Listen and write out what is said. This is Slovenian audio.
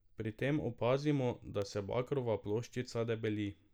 Pri tem opazimo, da se bakrova ploščica debeli.